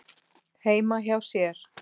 heima hjá sér.